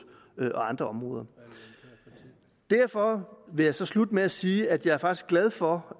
og andre områder derfor vil jeg slutte med at sige at jeg faktisk er glad for